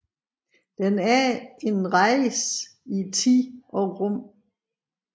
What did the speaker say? Den er en rejse i tid og rum